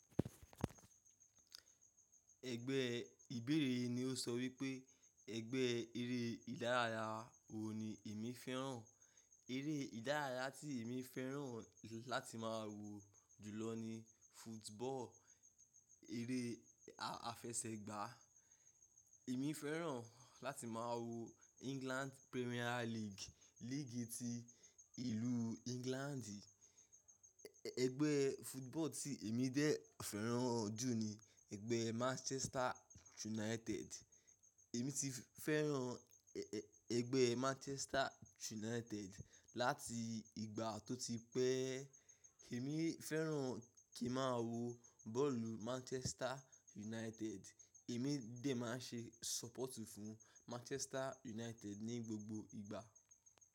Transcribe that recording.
Ẹgbẹ́, ìbéèrè yìí ní ó sọ wípé ẹgbẹ́ eré ìdárayá wo ni èmi féràn? Eré ìdárayá tí èmi féràn ju láti máa wò jùlọ ni football, eré àfẹsẹ̀gbá. Èmi féràn láti máa wo England Premier League, líìgì ti ìlú England. Ẹgbẹ́ football tí èmi dè fẹ́ràn jù ni ẹgbẹ́ Manchester United. Èmi ti féràn ẹgbẹ́ Manchester United láti ìgbà tó ti pẹ́. Èmi féràn kí n máa wo bọ́ọ̀lù Manchester United. Èmi dè máa ń ṣe sọ́pọ̀tù fún Manchester United ní gbogbo ìgbà.